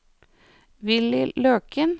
Villy Løken